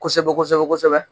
Kosɛbɛ kosɛbɛ kosɛbɛ